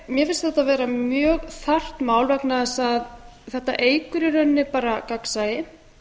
mér finnst þetta vera mjög þarft mál vegna þess að þetta eykur í rauninni bara gagnsæi